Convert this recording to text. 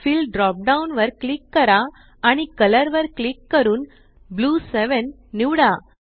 fill drop down वर click करा आणि कलर वर क्लिक करून ब्लू 7 निवडा